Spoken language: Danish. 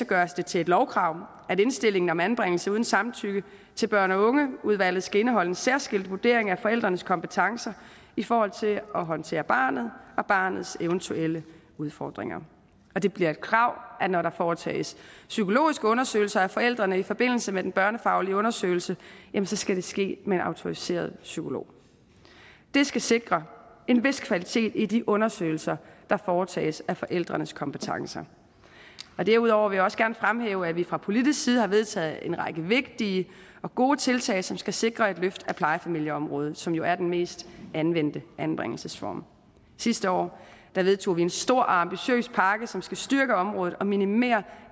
gøres det til et lovkrav at indstillinger om anbringelse uden samtykke til børn og unge udvalget skal indeholde en særskilt vurdering af forældrenes kompetencer i forhold til at håndtere barnet og barnets eventuelle udfordringer og det bliver et krav at når der foretages psykologiske undersøgelse af forældrene i forbindelse med den børnefaglige undersøgelse skal det ske med en autoriseret psykolog det skal sikre en vis kvalitet i de undersøgelser der foretages af forældrenes kompetencer derudover vil jeg også gerne fremhæve at vi fra politisk side har vedtaget en række vigtige og gode tiltag som skal sikre et løft af plejefamilieområdet som jo er den mest anvendte anbringelsesreform sidste år vedtog vi en stor og ambitiøs pakke som skal styrke området og minimere